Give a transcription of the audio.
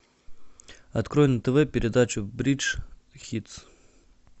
открой на тв передачу бридж хитс